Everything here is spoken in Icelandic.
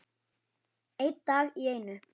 Einn dag í einu.